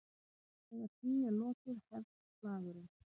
Þegar því er lokið hefst slagurinn.